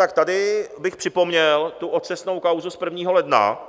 Tak tady bych připomněl tu otřesnou kauzu z 1. ledna,